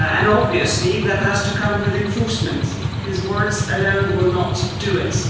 Obviously that has to come with enforcement, because words alone will not do it